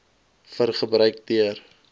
vir gebruik deur